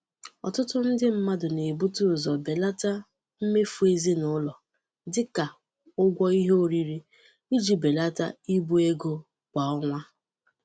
Ọtụtụ ndị mmadụ na-ebute ụzọ belata mmefu ezinụlọ, dị ka ụgwọ ihe oriri, iji belata ibu ego kwa ọnwa.